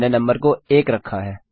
मैंने नंबर को 1 रखा है